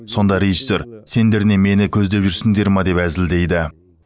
сонда режиссер сендер не мені көздеп жүрсіңдер ме деп әзілдейді